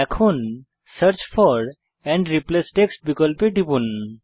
এখন search for and replace text বিকল্পে টিপুন